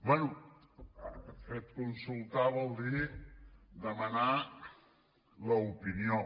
bé de fet consultar vol dir demanar l’opinió